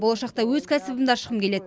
болашақта өз кәсібімді ашқым келеді